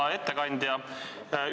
Hea ettekandja!